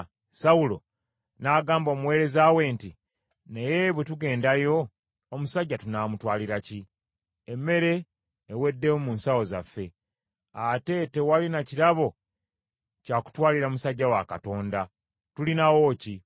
Sawulo n’agamba omuweereza we nti, “Naye bwe tugendayo, omusajja tunaamutwalira ki? Emmere eweddemu mu nsawo zaffe, ate tewali na kirabo kya kutwalira musajja wa Katonda. Tulinawo ki?”